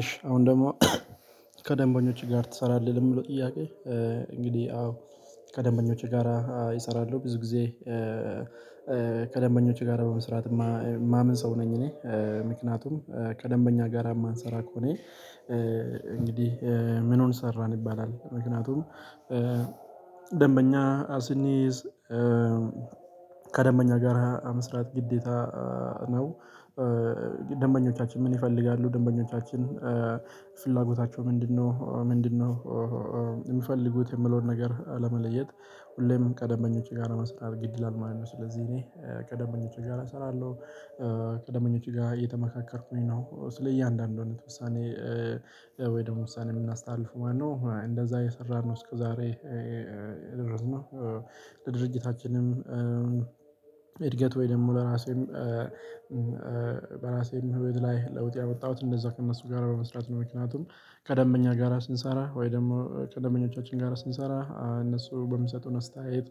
እሺ አሁን ደግሞ ከደንበኞች ጋር ትሰራለህ? ለሚለው ጥያቄ እንግዲህ አዎ ከደንበኞቼ ጋራ እሰራለሁ። ብዙ ጊዜ ከደንበኞቼ ጋራ በመስራት የማምን ሰው ነኝ። እኔ ምክንያቱም ከደንበኛ ጋራ የማንሰራ ከሆነ እንግዲህ ምኑን ሰራን ይባላል። ምክንያቱም ደንበኛ ስንይዝ በጋራ መስራት ግዴታ ነው። ደንበኞቻችን ምን ይፈልጋሉ? ደንበኞቻችን ፍላጎታቸው ምንድነው? ምንድነው የሚፈልጉት የሚለውን ነገር ለመለየት ሁሌም ከደንበኞቸ ጋር ለመስራት እድል ማለት ነው። ስለዚህ እኔ ከደንበኞቸ ጋር እሰራለሁ። ከደንበኞቸ ጋር እየተመካከርኩኝ ነው ስለ እያንዳንዱ ነው ምሳሌ ወይ ደግሞ ውሳኔ የምናስተላልፍ ማለት ነው። እንደዛ እየሰራን ነው እስከዛሬ ድረስ ነው። ለድርጅታችንም እድገት ወይንም ለራሴም በራሴም ህይወት ላይ ለውጥ ያመጣሁት እንደዛ ከእነሱ ጋር በመስራት ነው። ምክንያቱም ከደንበኛ ጋራ ስንሰራ ወይ ደግሞ ከደንበኞቻችን ጋራ ስንሰራ እነሱ በሚሰጡን አስተያየት።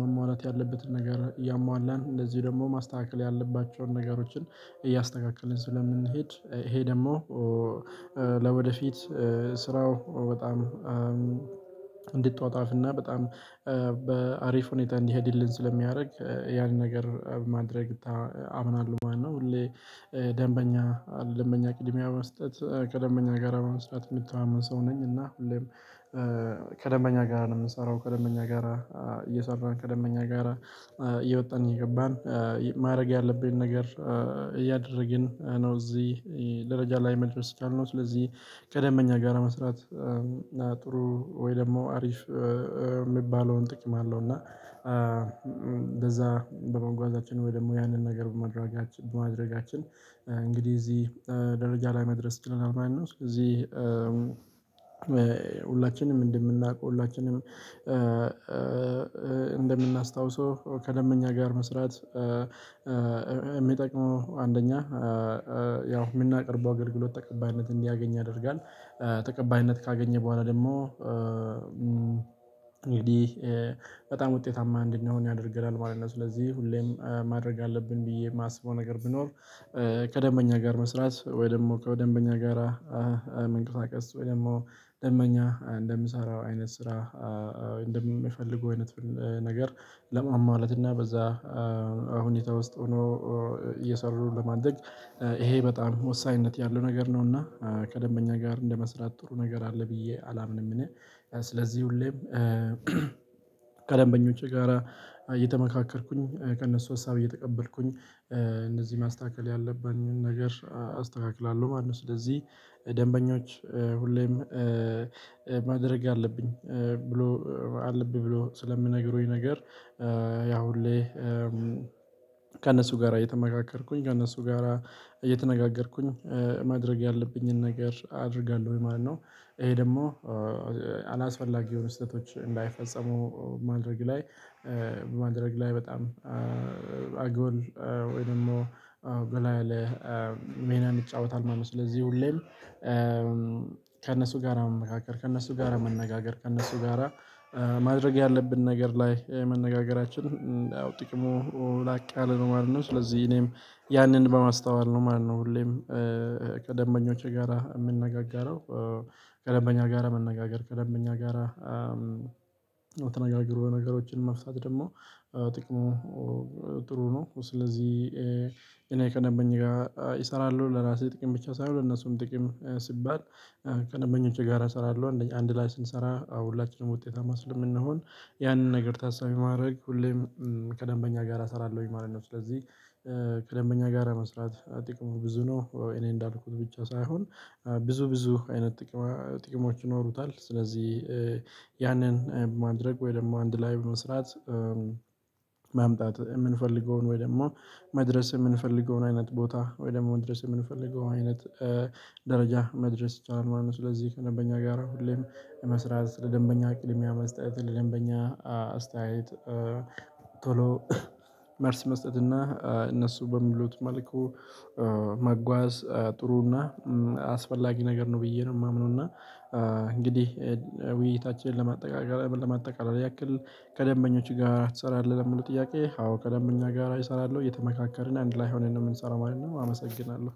መሟላት ያለበትን ነገር ያሟላን እንደዚሁ ደግሞ ማስተካከል ያለባቸውን ነገሮችን እያስተካከልን ስለምንሄድ ይሄ ደግሞ ለወደፊት ስራው በጣም እንዲጧጣፍና በጣም በአሪፍ ሁኔታ እንዲሄድልን ስለሚያደርግ ያንን ነገር ማድረግ አምናለሁ ማለት ነው። ሁሌ ደንበኛ ደንበኛ ቅድሚያ መስጠት ከደንበኛ ጋራ መስራት የሚታመን ሰው ነኝ። እና ሁሌም ከደንበኛ ጋራ ነው የምንሰራው ከደንበኛ ጋር እየሰራን ከደንበኛ ጋር እየወጣን እየገባን ማድረግ ያለብን ነገር እያደረግን ነው። እዚህ ደረጃ ላይ መድረስ ካልነው ስለዚህ ከደንበኛ ጋር መስራት ጥሩ ወይ ደግሞ አሪፍ የሚባለውን ጥቅም አለው። እና በመጓዛችን ወይ ደግሞ ያንን ነገር በማድረጋችን እንግዲህ እዚህ ደረጃ ላይ መድረስ ይችለናል። ማነው? እዚህ ሁላችንም እንደምናውቀው ሁላችንም እንደምናስታውሰው ከደንበኛ ጋር መስራት አንደኛ ያው የምናቀርበው አገልግሎት ተቀባይነት እንዲያገኝ ያደርጋል። ተቀባይነት ካገኘ በኋላ ደግሞ እንግዲህ በጣም ውጤታማ እንድንሆን ያደርገናል ማለት ነው። ስለዚህ ሁሌም ማድረግ አለብን ብዬ የማስበው ነገር ቢኖር ከደንበኛ ጋር መስራት ወይ ደግሞ ከደንበኛ ጋራ መንቀሳቀስ ወይ ደግሞ ደንበኛ እንደሚሰራው አይነት ስራ እንደሚፈልገው አይነት ነገር ለማማለት እና በዛ ሁኔታ ውስጥ ሆኖ እየሰሩ ለማደግ ይሄ በጣም ወሳኝነት ያለው ነገር ነው። እና ከደንበኛ ጋር እንደመስራት ጥሩ ነገር አለ ብዬ አላምንም። እኔ ስለዚህ ሁሌም ከለንበኞቼ ጋራ እየተመካከርኩኝ ከእነሱ ሀሳብ እየተቀበልኩኝ እነዚህ ማስተካከል ያለብኝን ነገር አስተካክላለሁ። ማንም ስለዚህ ደንበኞች ሁሌም ማድረግ አለብኝ ብሎ አለብኝ ብሎ ስለሚነግሩኝ ነገር አሁን ላይ ከእነሱ ጋራ የተመካከርኩኝ ጋራ እነሱ ጋራ እየተነጋገርኩኝ ማድረግ ያለብኝን ነገር አደርጋለሁ። ወይ ማለት ነው ይሄ ደግሞ አላስፈላጊ የሆኑ ስህተቶች እንዳይፈጸሙ ማድረግ ላይ በማድረግ ላይ በጣም አጎል ወይም ደግሞ ጎላ ያለ ሚናም ይጫወታል ማለት ነው። ስለዚህ ሁሌም ከእነሱ ጋራ መካከል ከእነሱ ጋራ መነጋገር ከእነሱ ጋራ ማድረግ ያለብን ነገር ላይ መነጋገራችን ጥቅሙ ላቅ ያለ ነው ማለት ነው። ስለዚህ እኔም ያንን በማስተዋል ነው ማለት ነው። ሁሌም ከደንበኞቼ ጋራ የምነጋገረው ከደንበኛ ጋር መነጋገር ከደንበኛ ጋር ተነጋግሮ ነገሮችን መፍታት ደግሞ ጥቅሙ ጥሩ ነው። ስለዚህ እኔ ከደንበኛ ጋር እሰራለሁ ለራሴ ጥቅም ብቻ ሳይሆን ለነሱም ጥቅም ሲባል ከደንበኞቼ ጋራ እሰራለሁ አንድ ላይ ስንሰራ አሁን ሁላችንም ውጤታማ የምንሆን ያንን ነገር ታሳቤ በማድረግ ሁሌም ከደንበኛ ጋራ አሰራለሁኝ ማለት ነው። ስለዚህ ከደንበኛ ጋር መስራት ጥቅሙ ብዙ ነው። እኔ እንዳልኩት ብቻ ሳይሆን ብዙ ብዙ አይነት ጥቅሞች ይኖሩታል። ስለዚህ ያንን ማድረግ ወይ ደግሞ አንድ ላይ በመስራት የምንፈልገውን ወይ ደግሞ መድረስ የምንፈልገውን አይነት ቦታ ወይ ደግሞ መድረስ የምንፈልገው አይነት ደረጃ መድረስ ይቻላል ማለት ነው። ስለዚህ ከደንበኛ ጋራ ሁሌም መስራት ለደንበኛ ቅድሚያ መስጠት ለደንበኛ አስተያየት ቶሎ መልስ መስጠት እና እነሱ በሚሉት መልኩ መጓዝ ጥሩና አስፈላጊ ነገር ነው። ብዬ ነው የማምነው። እና እንግዲህ ውይይታችንን ለማጠቃለል ለማጠቃለል ያክል ከደንበኞች ጋር ትሰራለህ? ለሚሉት ጥያቄ አዎ ቀደም እኛ ጋር እሰራለሁ እየተመካከርን አንድ ላይ ሆነን ነው የምንሰራው ማለት ነው። አመሰግናለሁ።